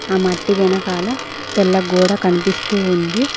ఆ మట్టి వెనకాల తెల్ల గోడ కనిపిస్తు ఉంది.